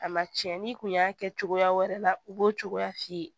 A ma tiɲɛ n'i kun y'a kɛ cogoya wɛrɛ la u b'o cogoya f'i ye